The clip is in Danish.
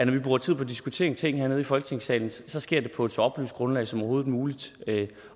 vi bruger tid på at diskutere en ting hernede i folketingssalen sker det på et så oplyst grundlag som overhovedet muligt